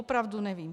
Opravdu nevím.